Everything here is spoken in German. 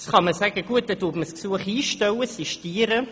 Natürlich kann man das Gesuch einstellen, das heisst sistieren.